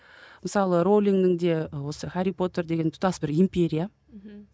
мысалы роулиңнің де осы хәрри потер деген тұтас бір империя мхм